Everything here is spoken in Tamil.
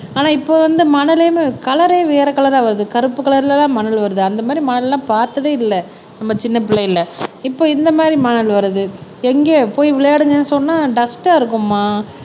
ஆனா இப்ப வந்து மணலையும் கலரே வேற கலர வருது கருப்பு கலர்லதான் மணல் வருது அந்த மாரி மணல் எல்லாம் பார்த்ததே இல்ல நம்ப சின்ன பிள்ளைல்ல இப்ப இந்த மாதிரி மணல் வருது எங்க போய் விளையாடுங்கன்னு சொன்னா டஸ்ட்டா இருக்கும்மா